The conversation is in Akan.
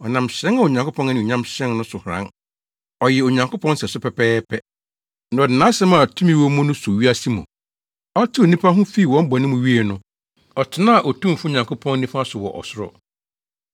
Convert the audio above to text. Ɔnam hyerɛn a Onyankopɔn anuonyam hyerɛn no so haran. Ɔyɛ Onyankopɔn sɛso pɛpɛɛpɛ, na ɔde nʼasɛm a tumi wɔ mu no so wiase mu. Ɔtew nnipa ho fii wɔn bɔne mu wiei no, ɔtenaa Otumfo Nyankopɔn nifa so wɔ ɔsoro.